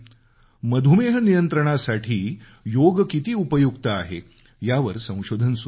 मधुमेह नियंत्रणासाठी योग किती उपयुक्त आहे यावर संशोधन सुरु आहे